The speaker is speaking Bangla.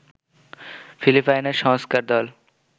ফিলিপাইনের সংস্কার হল